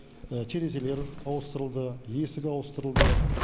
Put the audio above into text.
терезелер ауыстырылды есік ауыстырылды